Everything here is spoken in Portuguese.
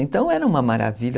Então era uma maravilha.